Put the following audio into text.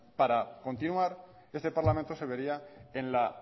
para continuar este parlamento se vería en la